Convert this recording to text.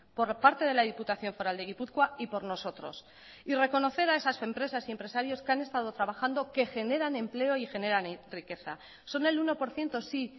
por parte de la diputación foral de gipuzkoa y por nosotros y reconocer a esas empresas y empresarios que han estado trabajando que generan empleo y generan riqueza son el uno por ciento sí